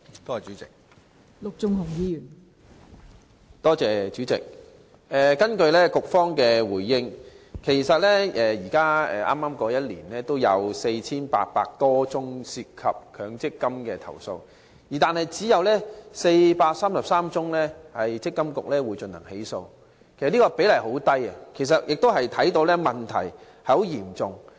代理主席，根據局方的主體答覆，本年度有4800多宗涉及強積金的投訴，但積金局只對當中433宗個案進行起訴，比例甚低，問題仍然嚴重。